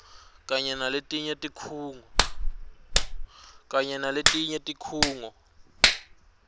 kanye naletinye tikhungo